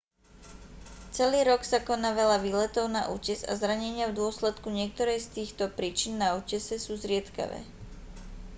celý rok sa koná veľa výletov na útes a zranenia v dôsledku niektorej z týchto príčin na útese sú zriedkavé